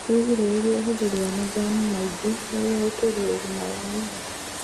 wĩgirĩrĩrie ũhũthĩri wa majani maĩ ngi nĩguo guturĩa ũgima wa ini